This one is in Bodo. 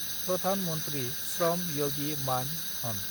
प्रधान मन्थ्रि श्रम यगि मान-धन